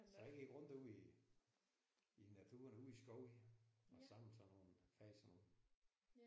Så jeg gik rundt ude i i naturen ude i skoven og samlede sådan nogle fik sådan nogle